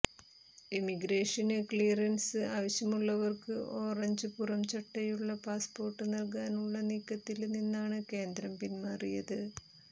emigration clearance ആവശ്യമുള്ളവര്ക്ക് orange പുറം ചട്ടയുള്ള പാസ്പോര്ട്ട് നല്കാനുള്ള നീക്കത്തില് നിന്നാണ് കേന്ദ്രം പിന്മാറിയത്